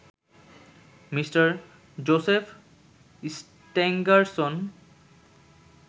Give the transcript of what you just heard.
Mr Joseph Stangerson